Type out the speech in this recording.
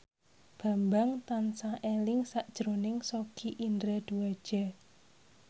Bambang tansah eling sakjroning Sogi Indra Duaja